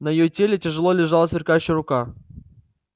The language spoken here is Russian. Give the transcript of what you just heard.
на её теле тяжело лежала сверкающая рука